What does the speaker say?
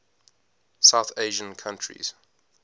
south asian countries